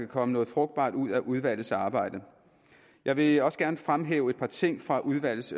kan komme noget frugtbart ud af udvalgets arbejde jeg vil også gerne fremhæve et par ting fra udvalgets